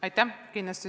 Aitäh!